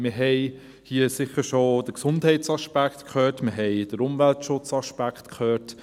Wir haben hier sicher schon den Gesundheitsaspekt gehört, wir haben den Umweltschutzaspekt gehört.